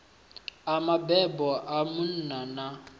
a mabebo a munna na